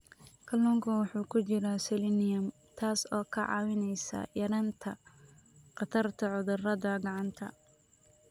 Kalluunka waxaa ku jira selenium, taas oo ka caawisa yaraynta khatarta cudurada gacanta.